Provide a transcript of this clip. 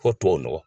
Fɔ tubabu nɔgɔ